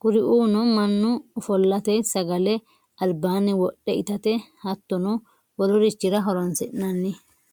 kuriuno manu ofolate sagale alibanni wodhe itate hatonno wolurichira horonsinnanni